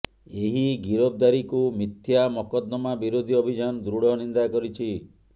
ଏହି ଗିରଫଦାରୀକୁ ମିଥ୍ୟା ମକଦ୍ଦମା ବିରୋଧୀ ଅଭିଯାନ ଦୃଢ଼ ନିନ୍ଦା କରିଛି